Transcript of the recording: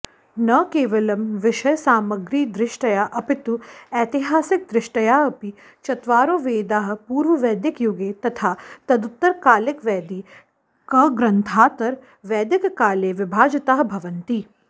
न केवलं विषयसामग्रीदृष्ट्या अपितु ऐतिहासिकदृष्टयाऽपि चत्वारो वेदाः पूर्ववैदिकयुगे तथा तदुत्तरकालिकवैदिकग्रन्थान्तरवैदिककाले विभाजिताः भवन्ति